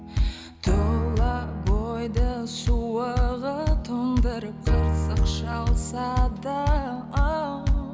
тұла бойды суығы тоңдырып қырсық шалса да оу